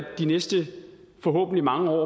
de næste forhåbentlig mange år